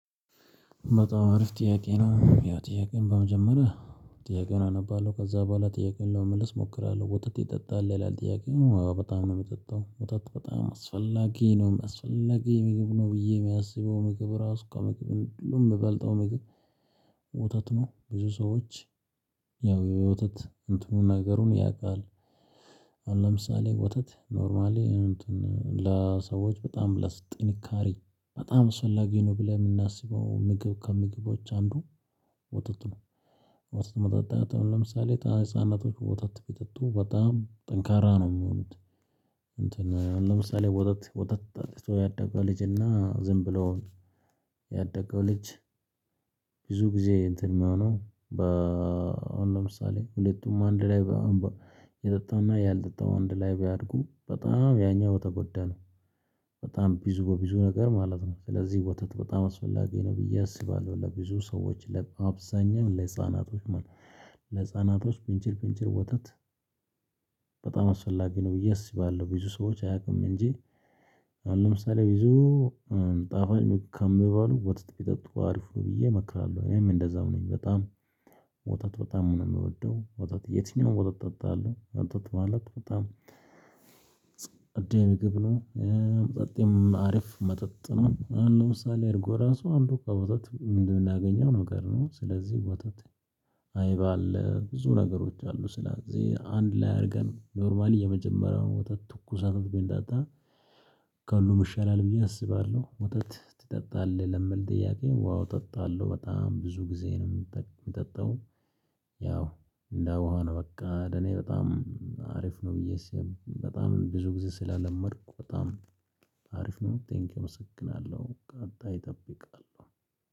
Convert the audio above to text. በጣም አሪፍ ጥያቄ ነው ያው ጥያቄውን በመጀመሪያ ጥያቄውን አነባለሁ ከዛ በኋላ ጥያቄውን ለመመልስ እሞክራለሁ። ወተት ትጠጣል ይላል? ጥያቄው አዎ በጣም ነው የምጠጣው። ወተት በጣም አስፈላጊ ነው አስፈላጊ ሚጊብ ነው። ብዬ የሚያስበው ምግብ ራሱ ከምግብ ሁሉ የምበልጠው ምግብ። ወተት ነው ብዙ ሰዎች ያው የወተት እንትኑን ነገሩን ያውቃል። አሁን ለምሳሌ ወተት ኖርማሊ እንትን ለሰዎች በጣም ለጥንካሬ በጣም አስፈላጊ ነው። ብለን የምናስበው ምግብ ከምግቦች አንዱ ወተት ነው። ወተት መጠጣት አሁን ለምሳሌ ህፃናቶች ወተት ቢጠጡ በጣም ጠንካራ ነው የሚሆኑት። እንትን ለምሳሌ ወተት ወተት ጠጥቶ ያደገው ልጅና ዝም ብሎ ያደገው ልጅ። ብዙ ጊዜ እንትን የሚሆነው በአሁን አሁን ለምሳሌ ሁለቱም አንድ ላይ የጠጣውና ያልጠጣው አንድ ላይ ቢያድጉ በጣም ያኛው በተጎዳ ነው። በጣም ቢዙ በቢዙ ነገር ማለት ነው ስለዚህ ወተት በጣም አስፈላጊ ነው ብዬ አስባለሁ። ለብዙ ሰዎች ለአብዛኛው ለህፃናቶች ማን ለህፃናቶች ብንችል ብንችል ወተት። በጣም አስፈላጊ ነው ብዬ አስባለሁ ብዙ ሰዎች አያውቅም እንጂ። አሁን ለምሳሌ ብዙ ጣፋጭ ከማበሉ ወተት ቢጠጡ አሪፍ ነው ብዬ እመክራለሁ። እኔም እንደዛው ነኝ። በጣም ወተት በጣም ነው የሚወደው ወተት የትኛውም ወተት ጠጣአለው ወተት በኋላ በጣም ፀዴ ምግብ ነው። መጠጥ አሪፍ መጠጥ ነውአሁን ለምሳሌ እርጎ ራሱ አንዱ ከወተት እምናገኘው ነገር ነው። ስለዚህ ወተት አይብ አለ ብዙ ነገሮች አሉ ስለዚህ አንድ ላይ አድርገን ኖርማሊ የመጀመሪያውን ወተት ትኩሷንም ብንጠጣ። ከሁሉም ይሻላል ብዬ አስባለሁ ወተት ትጠጣለህ? ለሚል ጥያቄ ዋው እጠጣለሁ በጣም ብዙ ጊዜ ነው የምጠጣው። ያው እንደ ውሃ ነው በቃ ለኔ በጣም አሪፍ ነው። ብዬ ስል በጣም ብዙ ጊዜ ስለለመድኩ በጣም አሪፍ ነው ቴንኪው እመሰግናለሁ። ቀጣይ እጠብቃለሁ።